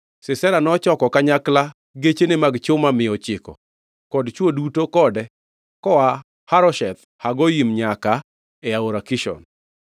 Sisera nochoko kanyakla gechene mag chuma mia ochiko kod chwo duto kode, koa Harosheth Hagoyim nyaka e Aora Kishon.